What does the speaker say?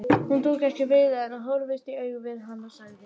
Hún tók ekki við því en horfðist í augu við hann og sagði